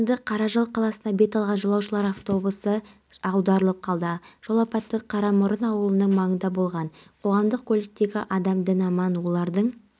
мен жүзе аламын осы уақытқа дейін менде тек бір ой болды жағаға дейін жүзіп бару мен